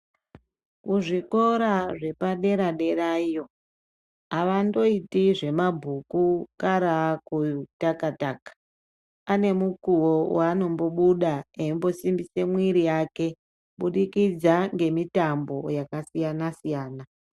Kuzvikora zvepadera derayo avandoiti zvemabhuku karaakutakata ane mukuwo waaonombobuda eisimbise mwiri yake kubudikidza ngemitambo yakasiyana siyana.